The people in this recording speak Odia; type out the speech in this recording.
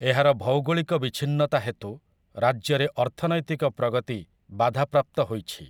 ଏହାର ଭୌଗୋଳିକ ବିଚ୍ଛିନ୍ନତା ହେତୁ ରାଜ୍ୟରେ ଅର୍ଥନୈତିକ ପ୍ରଗତି ବାଧାପ୍ରାପ୍ତ ହୋଇଛି ।